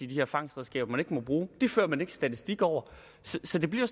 de her fangstredskaber der ikke må bruges det fører man ikke statistik over så det bliver